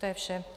To je vše.